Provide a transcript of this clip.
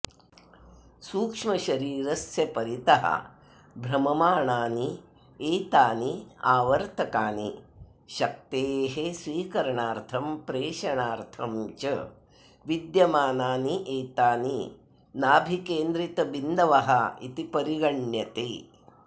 सूक्ष्मशरीरस्य परितः भ्रममाणान्येतान्यावर्तकानि शक्तेः स्वीकरणार्थं प्रेषणार्थं च विद्यमानान्येतानि नाभिकेन्द्रितबिन्दवः इति परिगण्यन्ते